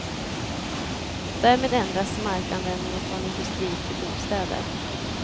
Därmed ändras markanvändningen från industri till bostäder.